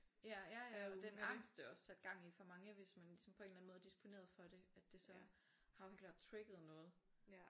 Ja ja den angst det også satte gang i for mange hvis man ligesom på en eller anden måde er dsiponeret for det at det så har jo helt klart trigget noget